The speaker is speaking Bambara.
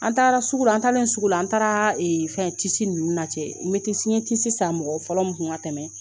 An taara sugu , an taalen sugu la an taara ee fɛn nunnu na cɛ n ye san mɔgɔ fɔlɔ mun kun ka tɛmɛ